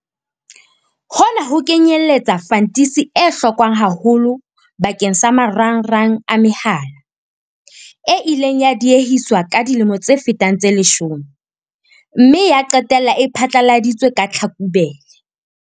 Hona ho kenyeletsa fantisi e hlokwang haholo bakeng sa marangrang a mehala, e ileng ya diehiswa ka dilemo tse fetang tse leshome mme ya qetella e phethahaditswe ka Tlhakubele.